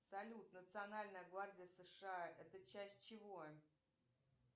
салют национальная гвардия сша это часть чего